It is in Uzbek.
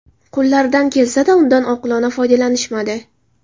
Qo‘llaridan kelsa-da, undan oqilona foydalanishmadi.